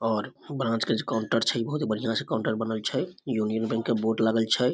और ब्रांच के जे काउंटर छै इ बहुत ही बढ़िया से काउंटर बनल छै यूनियन बैंक के बोर्ड लागल छै।